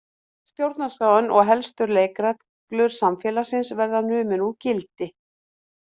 Stjórnarskráin og helstu leikreglur samfélagsins verða numin úr gildi